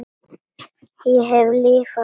Ég hef lifað svo margt.